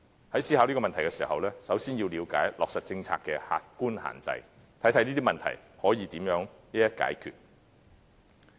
在思考這個問題時，首先要了解落實政策的客觀限制，看看這些問題可以如何一一解決。